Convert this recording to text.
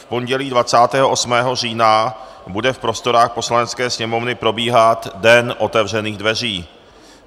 V pondělí 28. října bude v prostorách Poslanecké sněmovny probíhat den otevřených dveří.